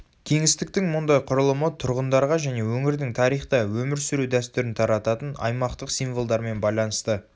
кеңістіктің мұндай құрылымы тұрғындарға және өңірдің тарихта өмір сүру дәстүрін тарататын аймақтық символдармен байланысты